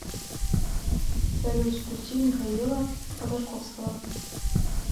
салют включи михаила ходорковского